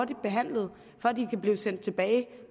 behandlet så de kan blive sendt tilbage